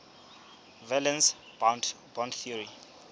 valence bond theory